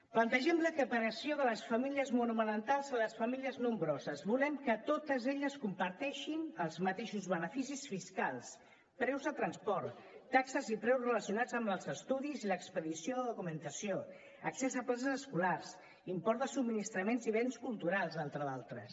plantegem l’equiparació de les famílies monomarentals a les famílies nombroses volem que totes elles comparteixin els mateixos beneficis fiscals preus de transport taxes i preus relacionats amb els estudis i l’expedició de documentació accés a places escolars imports de subministraments i béns culturals entre d’altres